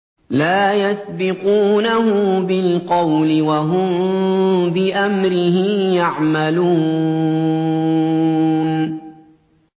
لَا يَسْبِقُونَهُ بِالْقَوْلِ وَهُم بِأَمْرِهِ يَعْمَلُونَ